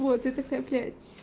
вот я такая блять